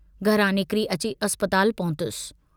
घरां निकिरी अची अस्पताल पहुतुस।